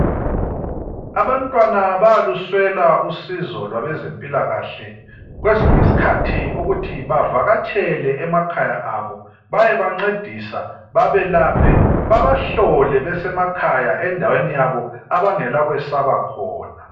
Abantwana bayaluswela usizo lwabeze mpilakahle kwesinye iskhathi ukuthi bavakatshele emakhaya abo baye bancedisa babelaphe babahlole besemakhaya endaweni yabo abangeka kwesaba khona